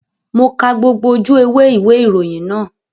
Mo ka gbogbo ojú ewé ìwé ìròyìn náà